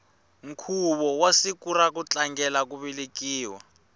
nkhuvo wa siku ra ku tlangela ku velekiwa